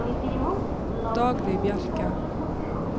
Dagny Bjerke